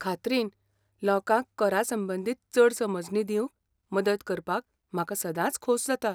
खात्रीन, लोकांक करा संंबंदीत चड समजणी दिवंक मदत करपाक म्हाका सदांच खोस जाता.